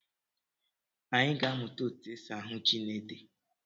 Anyị ga-amụta etu e si ahụ ji na ede